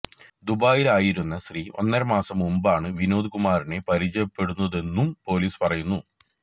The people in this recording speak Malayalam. ദുബായിലായിരുന്ന സ്ത്രീ ഒന്നരമാസം മുന്പാണ് വിനോദ് കുമാറിനെ പരിചയപ്പെടുന്നതെന്നും പൊലീസ് പറയുന്നു